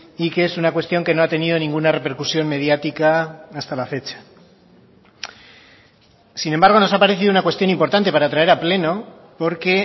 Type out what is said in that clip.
y que es una cuestión que no ha tenido ninguna repercusión mediática hasta la fecha sin embargo nos ha parecido una cuestión importante para traer a pleno porque